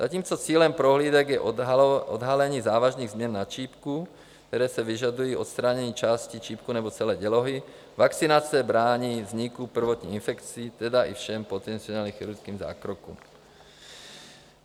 Zatímco cílem prohlídek je odhalení závažných změn na čípku, které si vyžádají odstranění části čípku nebo celé dělohy, vakcinace brání vzniku prvotní infekce, tedy i všem potenciálním chirurgickým zákrokům.